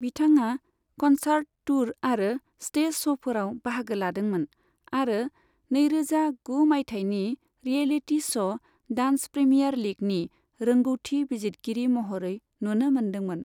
बिथांआ concert tour आरो stage श'फोराव बाहागो लादोंमोन, आरो नैरोजा गु मायथाइनि रियेलिटी श' डान्स प्रीमियार लीगनि रोंग'थि बिजितगिरि महरै नुनो मोनदोंमोन।